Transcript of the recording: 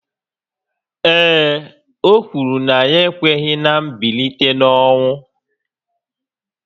Ee e, o kwuru na ya ekweghị ná mbilite n’ọnwụ